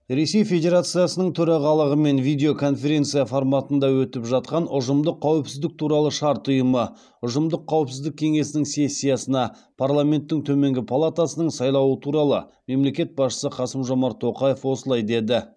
ресей федерациясының төрағалығымен видеоконференция форматында өтіп жатқан ұжымдық қауіпсіздік туралы шарт ұйымы ұжымдық қауіпсіздік кеңесінің сессиясына парламенттің төменгі палатасының сайлауы туралы мемлекет басшысы қасым жомарт тоқаев осылай деді